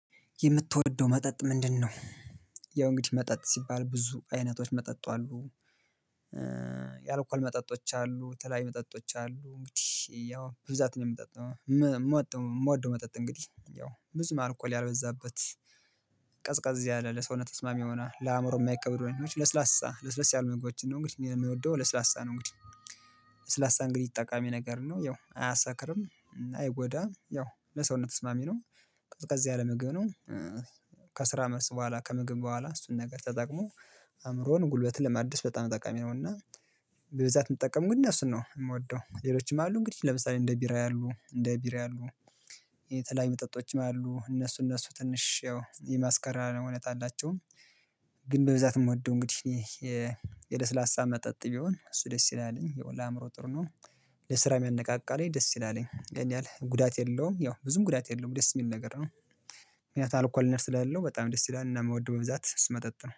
የምትወደው መጠጥ ምንድነው? ያው እንግዲህ መጠጥ ሲባል ብዙ አይነቶች መጠጥ አሉ። የአልኳል መጠጦች አሉ የተለየዩ መጠጦች አሉ እንግዲህ ያው ብዛት ነው የምጠጣው ም ም የምወደው መጠጥ እንግዲህ ያው ብዙ ማርኮል ያልበዛበት። ቀዝቃዝ ያለ ለሰውነት ተስማሚ ሆና ለአእምሮ የማይቀበሩ ነገሮች ለስላሳ ለስለስ ያሉ ምግቦችን ነው እንግዲህ እኔየምወደው ለስላሳ ነው እንግዲህ። ለስላሳ እንግዲህ ጠቃሚ ነገር ነው ያው አያሳክርም አይጎዳም ያው ለሰውነት ተስማሚ ነው። ቀጥቀዝ ያለ ምግብ ነው። ከስራ መስክ በኋላ ከምግብ በኋላ እሱን ነገር ተጠቅሞ አእምሮን ጉልበትን ለማድስ በጣም ጠቃሚ ነውና። በብዛት ምጠቀም ግን እኔ እሱን ነው የምወደው። ሌሎችም አሉ እንግዲህ ለምሳሌ እንደ ቢራ ያሉ እንደ ቢራ ያሉ። የተለያዩ መጠጦችም አሉ እነሱ እነሱ ትንሽ ያው የማስከራሪያ እውነት አላቸው። ግን በብዛት የምወደው እንግዲህ ይህ የ የደስ ላሳ መጠጥ ቢሆን እሱ ደስ ይላል የሚለው ለአእምሮ ጥሩ ነው። ለስራ ያነቃቃልም ደስ ይላልም እሄንያህል ጉዳት የለውም ያው ብዙም ጉዳት የለውም ደስ የሚል ነገር ነው። ምክንያቱም አልኮልነት ስላለው በጣም ደስ ይላል እና የምወደው በብዛት ስስመጠጥ ነው